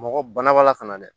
Mɔgɔ bana baala ka na dɛ